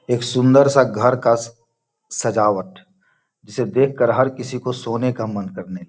एक सुन्दर सा घर का सा सजावट जिसे देख कर हर किसी को सोने का मन करने --